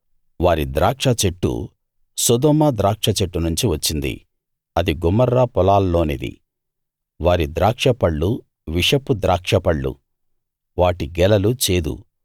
వారి ద్రాక్షచెట్టు సొదొమ ద్రాక్ష చెట్టు నుంచి వచ్చింది అది గొమొర్రా పొలాల్లోనిది వారి ద్రాక్షపళ్ళు విషపు ద్రాక్షపళ్ళు వాటి గెలలు చేదు